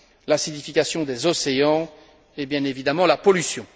l'acidification des océans, et bien évidemment la pollution.